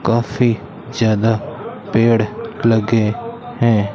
काफी ज्यादा पेड़ लगे हैं।